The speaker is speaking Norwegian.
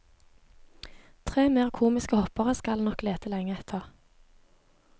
Tre mer komiske hoppere skal en nok lete lenge etter.